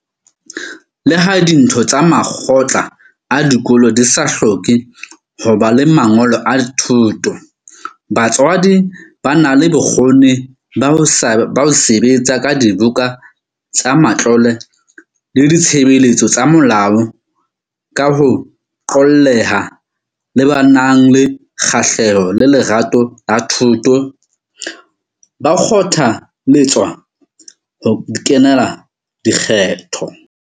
Le ha ditho tsa makgotla a dikolo di sa hloke hoba le mangolo a thuto, batswadi ba nang le bokgoni ba ho se betsa ka dibuka tsa matlole le ditshebeletso tsa molao ka ho qolleha, le ba nang le kgahleho le lerato la thuto, ba kgotha lletswa ho kenela dikgetho.